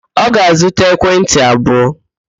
Ọ ga-azụta ekwentị abụọ?